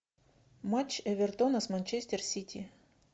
матч эвертона с манчестер сити